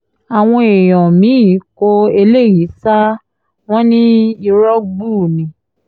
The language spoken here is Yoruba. àwọn èèyàn mí-ín kó eléyìí sáà wọn ní irọ́ gbuu ni